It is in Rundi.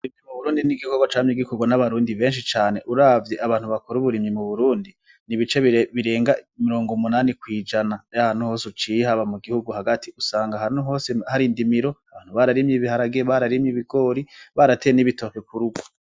Uburimyi ni igikogwa camye gikogwa n'abarundi benshi cane uravye abantu bakora uburimyi mu burundi n'ibice birenga mirongo umunani kw'ijana yahantu hose uciye hama mu gihugu hagati usanga ahantu hose hari indimiro bararimye ibiharage bararimye ibigori barateye n'ibitoke k'urugo.